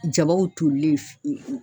Jabaw tolilen.